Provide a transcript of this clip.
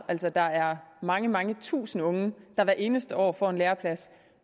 altså der er mange mange tusinde unge der hvert eneste år får en læreplads